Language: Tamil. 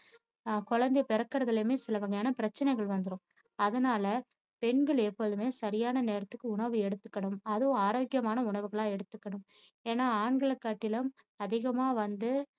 ஆஹ் குழந்தை பிறக்குறதுலயுமே இருந்து சில வகையான பிரச்சினைகள் வந்துடும் அதனால பெண்கள் எப்போதுமே சரியான நேரத்துக்கு உணவு எடுத்துக்கணும் அதுவும் ஆரோக்கியமான உணவுகளா எடுத்துக்கணும் ஏன்னா ஆண்களை காட்டிலும் அதிகமா வந்து